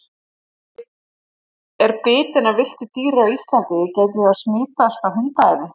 Ef ég er bitin af villtu dýri á Íslandi gæti ég þá smitast af hundaæði?